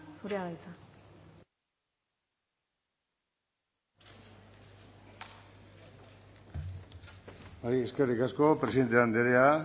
zurea da hitza eskerrik asko presidente andrea